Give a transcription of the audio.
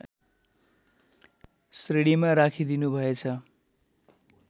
श्रेणीमा राखिदिनुभएछ